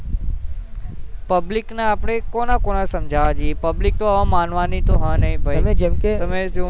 public આપડે કોને કોને સમજવા જઈએ public તો હવે માનવાની તો હ નહિભાઈ હવે તમે જાણી શકો છો.